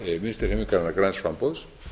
varaborgarfulltrúa vinstri hreyfingarinnar græns framboðs